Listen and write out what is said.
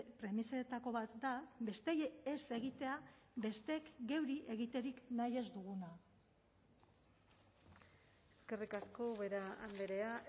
premisetako bat da besteei ez egitea besteek geuri egiterik nahi ez duguna eskerrik asko ubera andrea